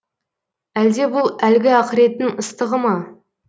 әлде бұл әлгі ақыреттің ыстығы ма